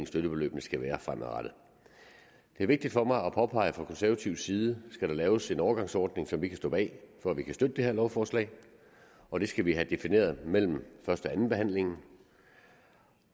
støttebeløbene skal være fremadrettet det er vigtigt for mig at påpege fra konservativ side at skal laves en overgangsordning som vi kan stå bag for at vi kan støtte det her lovforslag og det skal vi have defineret mellem første og anden behandling